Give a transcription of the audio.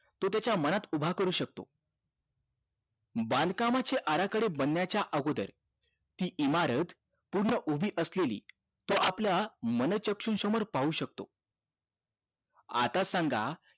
तो त्याच्या मनात उभा करू शकतो बांधकामाची आराखडे बनण्याच्या अगोदर ती इमारत पूर्ण उभी असलेली तो आपल्या मन शक्तीसमोर पाहू शकतो आता सांगा